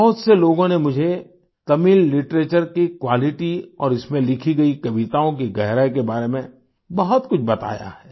बहुत से लोगों ने मुझे तमिल लिटरेचर की क्वालिटी और इसमें लिखी गई कविताओं की गहराई के बारे में बहुत कुछ बताया है